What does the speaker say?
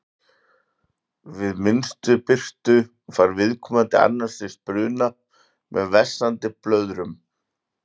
við minnstu birtu fær viðkomandi annars stigs bruna með vessandi blöðrum